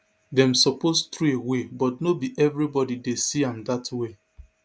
dem suppose trowey but no be evribodi dey see am dat way